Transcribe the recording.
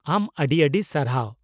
ᱟᱢ ᱟᱹᱰᱤ ᱟᱹᱰᱤ ᱥᱟᱨᱦᱟᱣ !